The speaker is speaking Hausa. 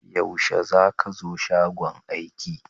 Yaushe za ka zo shagon aiki?